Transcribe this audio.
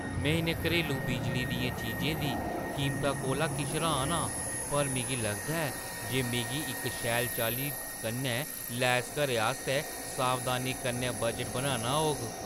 में इʼनें घरेलू बिजली दियें चीजें दी कीमता कोला किश र्‌हान आं, पर मिगी लगदा ऐ जे मिगी इक शैल चाल्ली कन्नै लैस घरै आस्तै सावधानी कन्नै बजट बनाना होग।